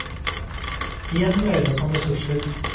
Igjen dreier det seg om ressurser.